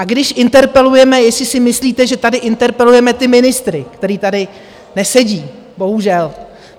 A když interpelujeme, jestli si myslíte, že tady interpelujeme ty ministry, kteří tady nesedí, bohužel.